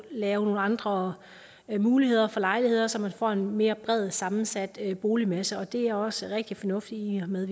lave nogle andre muligheder for lejligheder så man får en mere bredt sammensat boligmasse og det er også rigtig fornuftigt i i og med